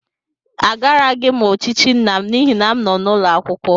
Agaraghị m ochichi nna m n'ihi na m nọ n'ụlọ akwụkwọ.